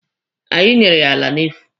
Anyị nyere ya ala n'efu.